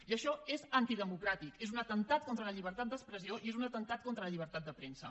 i això és antidemocràtic és un atemptat contra la llibertat d’expressió i és un atemptat contra la llibertat de premsa